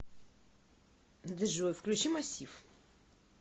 джой включи массив